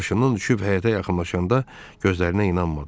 Maşından düşüb həyətə yaxınlaşanda gözlərinə inanmadı.